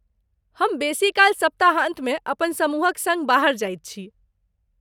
हम बेसीकाल सप्ताहान्तमे अपन समूहक सङ्ग बाहर जाइत छी।